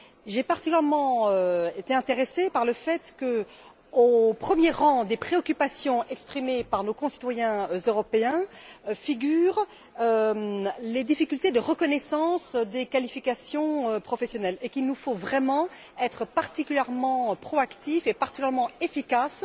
J'ai d'abord été intéressée par le fait qu'au premier rang des préoccupations exprimées par nos concitoyens européens, figurent les difficultés de reconnaissance des qualifications professionnelles et qu'il nous faut vraiment être particulièrement proactifs et efficaces.